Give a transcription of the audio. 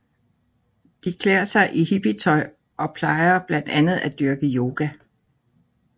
De klæder sig i hippietøj og plejer blandt andet at dyrke yoga